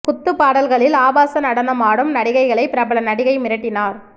குத்து பாடல்களில் ஆபாச நடனம் ஆடும் நடிகைகளை பிரபல நடிகை மிரட்டினார்